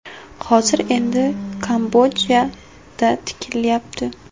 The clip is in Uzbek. Hozir endi Kambodjada tikilyapti.